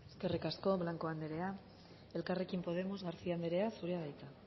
eskerrik asko blanco andrea elkarrekin podemos garcía andrea zurea da hitza